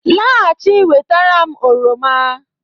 Laghachi wetara m oroma